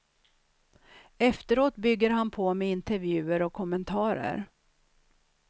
Efteråt bygger han på med intervjuer och kommentarer.